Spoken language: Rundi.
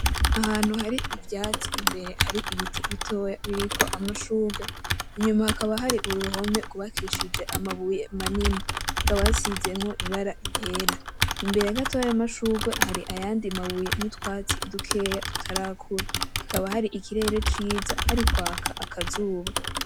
Ahantu hari ivyatsi imbere hari ibiti bitoya biriko amashugwe inyuma hakaba hari uruhome gwubakishije amabuye manini hakaba hasizemo ibara ryera. Imbere gatoya yayo mashugwe hari ayandi mabuye n'utwatsi dukeya tutarakura hakaba hari ikirere ciza hari kwaka akazuba.